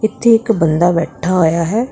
ਇਥੇ ਇੱਕ ਬੰਦਾ ਬੈਠਾ ਹੋਇਆ ਹੈ।